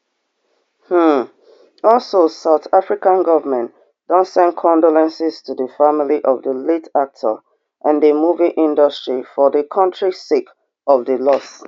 um also south african govment don send condolences to di family of di late actor and di movie industry for di kontri sake of di loss